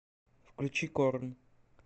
включи корн